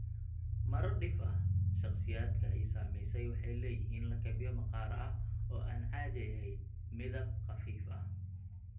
Marar dhif ah, shakhsiyaadka ay saamaysay waxay leeyihiin lakabyo maqaar ah oo aan caadi ahayn midab khafiif ah (hypopigmented).